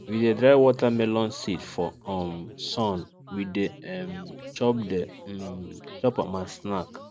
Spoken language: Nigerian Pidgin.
we de dry watermelon seed for um sun we de um chop de um chop am as snack